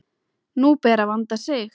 Nú ber að vanda sig!